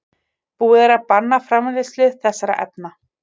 Búið er að banna framleiðslu þessara efna.